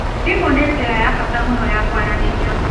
Thimu nĩ njĩra ya bata mũno ya kwaranĩria.